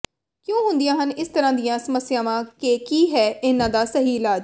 ਕਿਉਂ ਹੁੰਦੀਆਂ ਹਨ ਇਸ ਤਰ੍ਹਾਂ ਦੀਆਂ ਸਮੱਸਿਆਵਾਂ ਕੇ ਕੀ ਹੈ ਇਨ੍ਹਾਂ ਦਾ ਸਹੀ ਇਲਾਜ